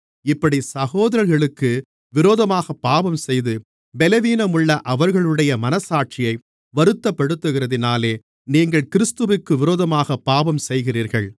இப்படிச் சகோதரர்களுக்கு விரோதமாகப் பாவம்செய்து பலவீனமுள்ள அவர்களுடைய மனச்சாட்சியை வருத்தப்படுத்துகிறதினாலே நீங்கள் கிறிஸ்துவிற்கு விரோதமாகப் பாவம் செய்கிறீர்கள்